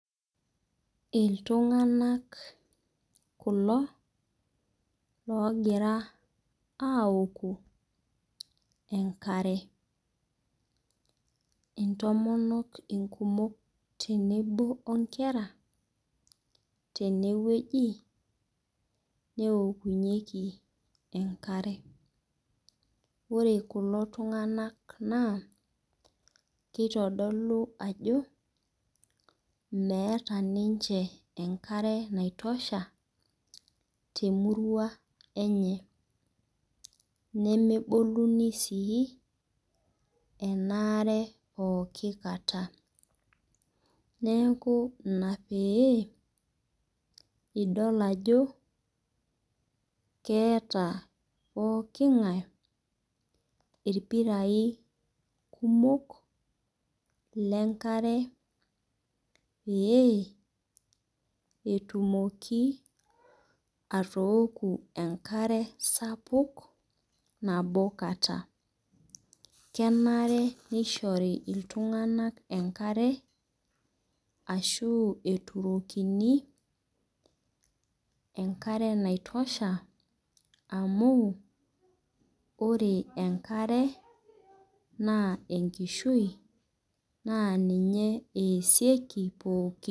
Iltung'anak kulo logira aoku enkare. Intomonok inkumok tenebo onkera, tenewueji neokunyeki enkare. Ore kulo tung'anak naa, kitodolu ajo, meeta ninche enkare nai tosha temurua enye. Nemeboluni sii enaare pooki kata. Neeku ina pee, idol ajo keeta pooking'ae irpirai kumok, lenkare pee, etumoki atooku enkare sapuk nabo kata. Kenare nishori iltung'anak enkare, ashu eturokini enkare nai tosha amu, ore enkare, naa enkishui, naa ninye eesieki pooki.